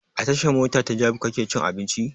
A tashan mota ta jabi kake cin abinci?